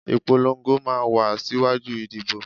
Ìpolongo máa ń wá síwájú ìdìbò